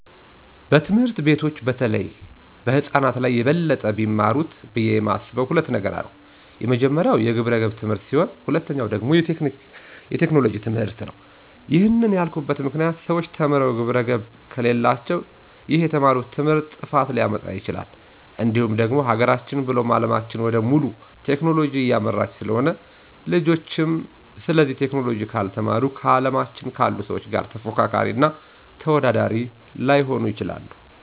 በትምህርት ቤቶች በተለይ ህፃናት ላይ በበለጠ ቢማሩት ብዬ የማስበው ሁለት ነገር ነው፤ የመጀመሪያው የግብረገብ ትምህርት ሲሆን ሁለተኛው ደግሞ የቴክኖሎጂ ትምህርትነው። ይህንን ያልኩበት ምክንያት ሰዎች ተምረው ግብረገብ ከሌላቸው ይህ የተማሩት ትምህርት ጥፋትን ሊያመጣ ይችላል፤ እንዲሁም ደግሞ ሀገራችን ብሎም አለማችን ወደ ሙሉ ቴክኖሎጂ እያመራች ስለሆነ ልጆችም ስለዚህ ቴክኖሎጂ ካልተማሩ ከአለማችን ካሉ ሰዎች ጋር ተፎካካሪ እና ተወዳዳሪ ላይሆኑ ይችላሉ።